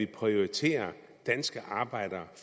prioriterer danske arbejdere og